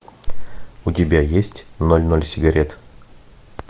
у тебя есть ноль ноль сигарет